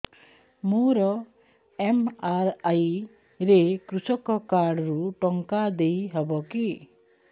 ମୋର ଏମ.ଆର.ଆଇ ରେ କୃଷକ କାର୍ଡ ରୁ ଟଙ୍କା ଦେଇ ହବ କି